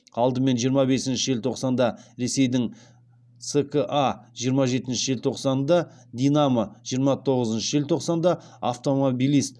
алдымен жиырма бесінші желтоқсанда ресейдің ска жиырма жетінші желтоқсанда динамо жиырма тоғызыншы желтоқсанда автомобилист